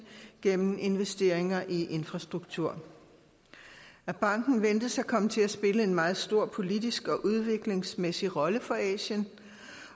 gennem investeringer i infrastruktur banken ventes at komme til at spille en meget stor politisk og udviklingsmæssig rolle for asien